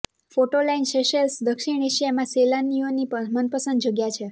photo line Seychelles દક્ષિણ એશિયામાં સેલાનિયોની મનપસંદ જગ્યા છે